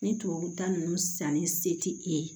Ni tubabuta ninnu sanni se tɛ e ye